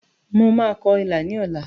Mo máa kọ ilà ní ọ̀la